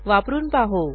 वापरून पाहू